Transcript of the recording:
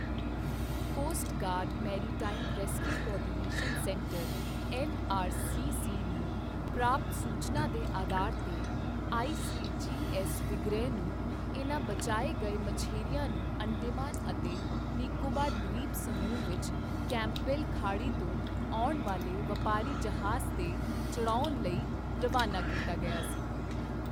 Cost guard maritime rescue coordination centre MRCC. ਨੂੰ ਪ੍ਰਾਪਤ ਸੂਚਨਾ ਦੇ ਆਧਾਰ ਤੇ, ਆਈਸੀਜੀਐੱਸ ਵਿਗ੍ਰਹ ਨੂੰ ਇਨ੍ਹਾਂ ਬਚਾਏ ਗਏ ਮਛੇਰਿਆਂ ਨੂੰ ਅੰਡੇਮਾਨ ਅਤੇ ਨਿਕੋਬਾਰ ਦ੍ਵੀਪ ਸਮੂਹ ਵਿੱਚ ਕੈਂਪਬੈਲ ਖਾੜੀ ਤੋਂ ਆਉਣ ਵਾਲੇ ਵਪਾਰੀ ਜਹਾਜ਼ ਤੇ ਚੜਾਉਣ ਲਈ ਰਵਾਨਾ ਕੀਤਾ ਗਿਆ ਸੀ।